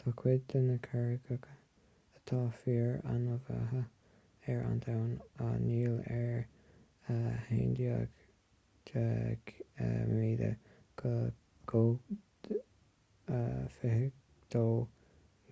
tá cuid de na carraigeacha atá fíor-annamh ar an domhan á ndíol ar us$11,000 go